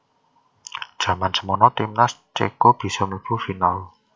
Jaman semono timnas cèko bisa mlebu final